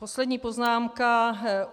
Poslední poznámka.